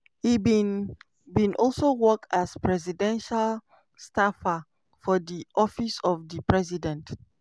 e bin bin also work as presidential staffer for di office of di president.